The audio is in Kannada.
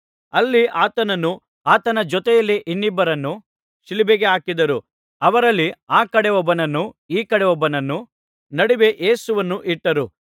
ಅಲ್ಲಿ ಆತನನ್ನೂ ಆತನ ಜೊತೆಯಲ್ಲಿ ಇನ್ನಿಬ್ಬರನ್ನೂ ಶಿಲುಬೆಗೆ ಹಾಕಿದರು ಅವರಲ್ಲಿ ಆ ಕಡೆ ಒಬ್ಬನನ್ನು ಈ ಕಡೆ ಒಬ್ಬನನ್ನು ನಡುವೆ ಯೇಸುವನ್ನು ಇಟ್ಟರು